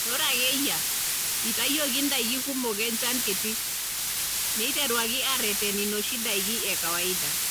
Ore ake eyia eitayioki ndaiki kumok enchan kiti, neiteruaki aareten inoshi daiki e kawaida.